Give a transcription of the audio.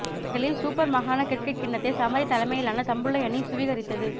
மகளிர் சுப்பர் மாகாண கிரிக்கெட் கிண்ணத்தை சமரி தலைமையிலான தம்புள்ளை அணி சுவீகரித்தது